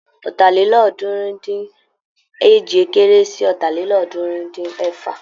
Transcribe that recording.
Ọ̀tàlélọ́ọ̀ọ́dúnrún-dín-èje kéré sí Ọ̀tàlélọ́ọ̀ọ́dúnrún-dín-ẹ̀fà.